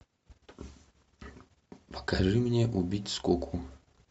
покажи мне убить скуку